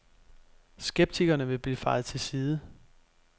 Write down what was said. Skeptikerne vil blive fejet til side.